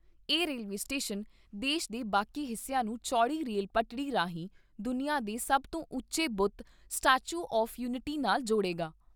ਇਹ railway station ਦੇਸ਼ ਦੇ ਬਾਕੀ ਹਿੱਸਿਆਂ ਨੂੰ ਚੌੜੀ ਰੇਲ ਪਟੜੀ ਰਾਹੀਂ, ਦੁਨੀਆਂ ਦੇ ਸਭ ਤੋਂ ਉੱਚੇ ਬੁੱਤ, ਸਟੈਚੂ ਆਫ਼ਯੂਨਿਟੀ ਨਾਲ ਜੋੜੇਗਾ।